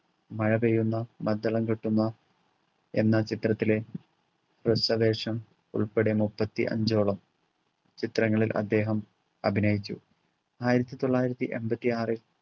മഴപെയ്യുന്നു മദ്ദളം കൊട്ടുന്നു എന്ന ചിത്രത്തിലെ ഹ്രസ്വ വേഷം ഉൾപ്പെടെ മുപ്പത്തി അഞ്ചോളം ചിത്രങ്ങളിൽ അദ്ദേഹം അഭിനയിച്ചു ആയിരത്തിത്തൊള്ളായിരത്തി എൺപത്തിആറിൽ